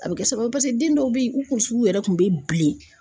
A bɛ kɛ sababu ye paseke den dɔw bɛ ye u kunsigiw yɛrɛ kun bɛ bilen.